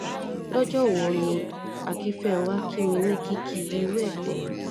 lọ́jọ́ wo ni akínfẹ́ńwá kí mi ní kìkì irú ẹ̀ gbẹ̀yìn